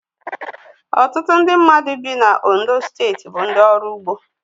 Ọtụtụ ndị mmadụ dì na Ondo steeti bụ ndị ọrụ ugbo